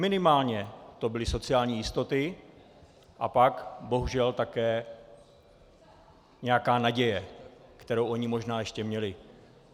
Minimálně to byly sociální jistoty a pak bohužel také nějaká naděje, kterou oni možná ještě měli.